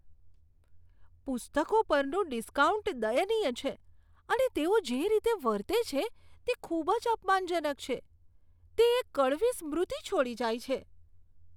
પુસ્તકો પરનું ડિસ્કાઉન્ટ દયનીય છે અને તેઓ જે રીતે વર્તે છે તે ખૂબ જ અપમાનજનક છે. તે એક કડવી સ્મૃતિ છોડી જાય છે.